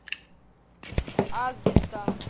асбеста